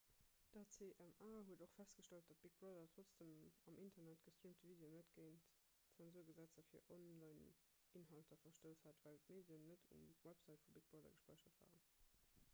d'acma huet och festgestallt datt big brother trotz dem am internet gestreamte video net géint zensurgesetzer fir onlineinhalter verstouss hat well d'medien net um website vu big brother gespäichert waren